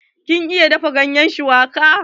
Kin iya dafa ganye na shuwaka?